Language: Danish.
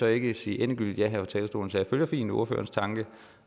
jeg ikke sige endegyldigt ja her fra talerstolen så jeg følger fint ordførerens tanke